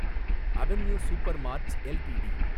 avenue Supermarts LTD